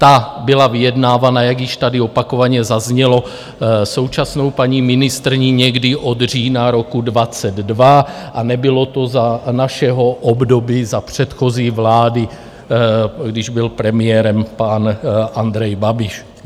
Ta byla vyjednávána, jak již tady opakovaně zaznělo, současnou paní ministryní někdy od října roku 2022 a nebylo to za našeho období, za předchozí vlády, když byl premiérem pan Andrej Babiš.